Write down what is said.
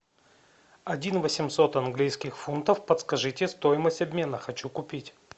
один восемьсот английских фунтов подскажите стоимость обмена хочу купить